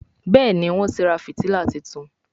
Béèni Wón tí rà fìtílà títún.